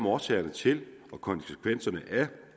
årsagerne til og konsekvenserne